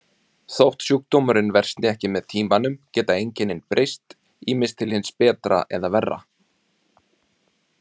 Þótt sjúkdómurinn versni ekki með tímanum geta einkennin breyst, ýmist til hins betra eða verra.